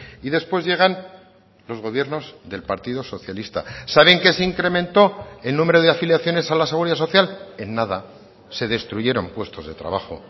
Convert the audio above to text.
y después llegan los gobiernos del partido socialista sabe en qué se incrementó el número de afiliaciones a la seguridad social en nada se destruyeron puestos de trabajo